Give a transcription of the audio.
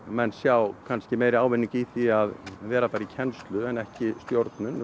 menn sjá kannski meiri ávinning í því að vera í kennslu en ekki stjórnun